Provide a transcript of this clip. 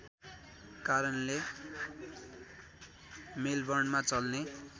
कारणले मेलबर्नमा चल्ने